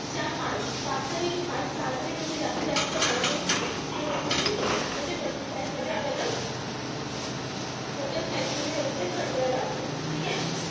चार-पाच पाच तरी सहा तरी म्हणजे जास्तीत जास्त कांदे व्यवस्थित म्हणजे मोठ्या slice मध्ये आपल्याला, मोठ्या slice मध्ये व्यवस्थित cut करावा लागतो. ठीकेय?